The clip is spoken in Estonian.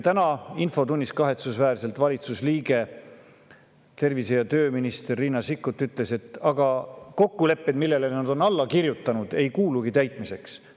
Tänases infotunnis valitsuse liige, tervise- ja tööminister Riina Sikkut kahetsusväärselt ütles, et ega kokkulepped, millele nad on alla kirjutanud, ei olegi täitmiseks.